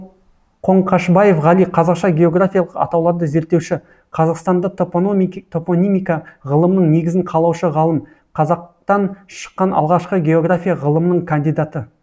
қоңқашбаев ғали қазақша географиялық атауларды зерттеуші қазақстанда топонимика ғылымының негізін қалаушы ғалым қазақтан шыққан алғашқы география ғылымының кандидаты